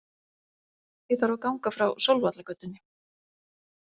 Ég þarf að ganga frá Sólvallagötunni.